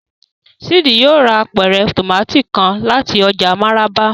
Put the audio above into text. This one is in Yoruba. Sid yóò rà apẹrẹ tomati kàn láti ọjà Maraba